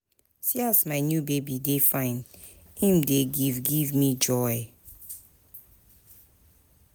See as my new baby dey fine, im dey give give me joy.